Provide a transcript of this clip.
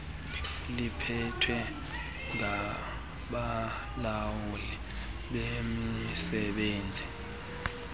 liphethwe ngabalawuli bemisebenzi